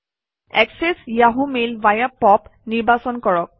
access যাহঁ mail via POP নিৰ্বাচন কৰক